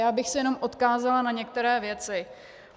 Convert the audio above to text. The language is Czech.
Já bych se jenom odkázala na některé věci.